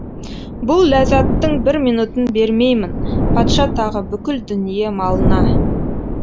бұл ләззаттың бір минутын бермеймін патша тағы бүкіл дүние малына